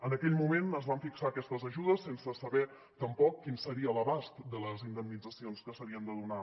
en aquell moment es van fixar aquestes ajudes sense saber tampoc quin seria l’abast de les indemnitzacions que s’havien de donar